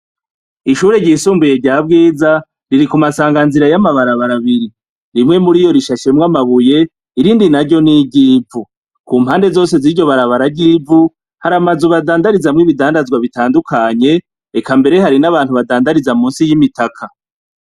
Ishure ry'isumbuye rya Bwiza riri ku masanganzira y'amabarabara abiri. Rimwe muriyo rishashemwo amabuye, irindi naryo ni iryivu. Ku mpande zose ziryo barabara ry'ivu hari amazu badandarizamwo ibidandazwa bitandukanye, reka mbere hari n'abantu badandariza musi y'imitaka.